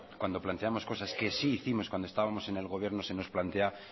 cuando planteamos cosas que sí hicimos cuando estábamos en el gobierno se nos plantea